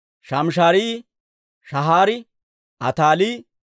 Shaamisharaayi, Shahaari, Ataalii,